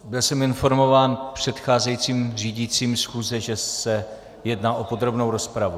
Byl jsem informován předcházejícím řídícím schůze, že se jedná o podrobnou rozpravu.